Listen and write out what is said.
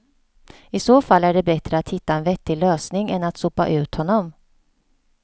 I så fall är det bättre att hitta en vettig lösning än att sopa ut honom.